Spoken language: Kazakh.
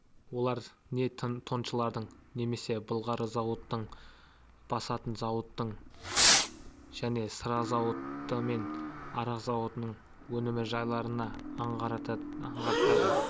олар не тоншылардың немесе былғары зауытының басатын зауыттың және сыра зауыты мен арақ зауытының өнім жайларын аңғартады